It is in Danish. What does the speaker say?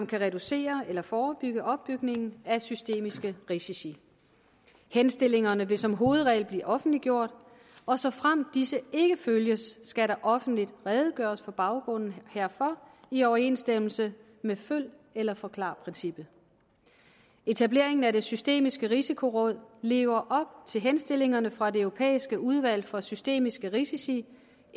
kan reducere eller forebygge opbygningen af systemiske risici henstillingerne vil som hovedregel blive offentliggjort og såfremt disse ikke følges skal der offentligt redegøres for baggrunden herfor i overensstemmelse med følg eller forklar princippet etableringen af det systemiske risikoråd lever op til henstillingerne fra det europæiske udvalg for systemiske risici